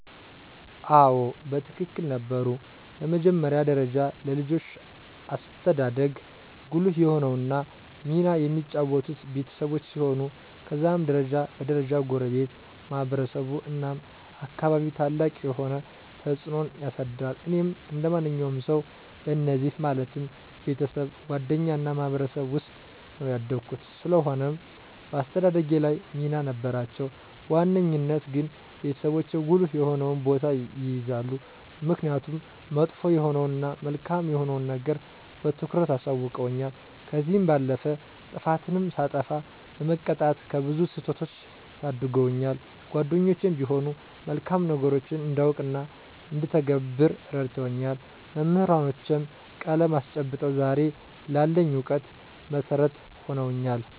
አዎ በትክክል ነበሩ። በመጀመሪያ ደረጃ ለልጆች አስተዳደግ ጉልህ የሆነውን ሚና የሚጫወቱት ቤተሰቦች ሲሆኑ ከዛም ደረጃ በ ደረጃ ጎረቤት፣ ማህበረሰቡ እናም አካባቢው ታላቅ የሆነ ተፅዕኖን ያሳድራል። እኔም እንደ ማንኛውም ሰዉ በእነዚህ ማለትም፦ ቤተሰብ፣ ጓደኛ እና ማህበረሰብ ዉስጥ ነው ያደኩት። ስለሆነም በአስተዳደጌ ላይ ሚና ነበራቸው። በዋነኛነት ግን ቤተሰቦቼ ጉልህ የሆነውን ቦታ ይይዛሉ። ምክኒያቱም መጥፎ የሆነዉን እና መልካም የሆነዉን ነገር በትኩረት አሳዉቀዉኛል፤ ከዚህም ባለፈ ጥፋትንም ሳጠፋ በመቅጣት ከብዙ ስህተቶች ታድገውኛል። ጓደኞቼም ቢሆኑ መልካም ነገሮችን እንዳውቅ እና እንድተገብር እረድተውኛል፤ መምህራኖቼም ቀለም አስጨብጠው ዛሬ ላለኝ እውቀት መሠረት ሁነውኛል።